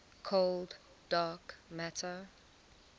cold dark matter